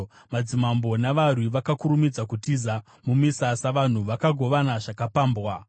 “Madzimambo navarwi vakakurumidza kutiza; mumisasa, vanhu vakagovana zvakapambwa.